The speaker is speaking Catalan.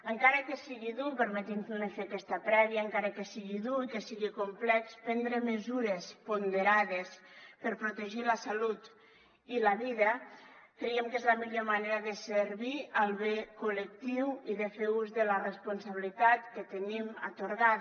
encara que sigui dur permetin me fer aquesta prèvia i que sigui complex prendre mesures ponderades per protegir la salut i la vida creiem que és la millor manera de servir el bé col·lectiu i de fer ús de la responsabilitat que tenim atorgada